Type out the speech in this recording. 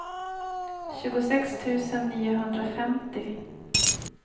tjugosex tusen niohundrafemtio